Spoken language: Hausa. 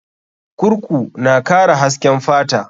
Kurku na kara hasken fata.